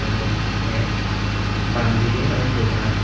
এবং এক বাম দিকে ওর দোকান।